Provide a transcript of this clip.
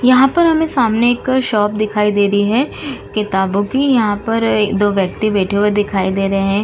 यहाँ पर हमें सामने एक शॉप दिखाई दे रही है किताबों की यहाँ पर दो व्यक्ति बैठे हुए दिखाई दे रहे हैं।